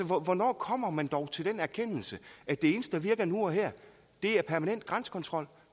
hvornår kommer man dog til den erkendelse at det eneste der virker nu og her er permanent grænsekontrol